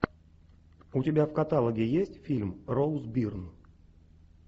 у тебя в каталоге есть фильм роуз бирн